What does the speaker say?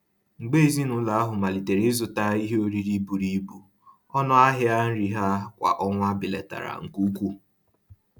Mgbe ezinụlọ ahụ malitere ịzụta ihe oriri buru ibu, ọnụ ahịa nri ha kwa ọnwa belatara nke ukwuu